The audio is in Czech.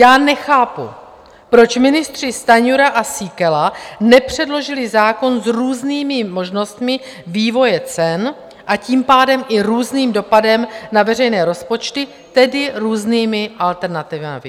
Já nechápu, proč ministři Stanjura a Síkela nepředložili zákon s různými možnostmi vývoje cen, a tím pádem i různým dopadem na veřejné rozpočty, tedy různými alternativami.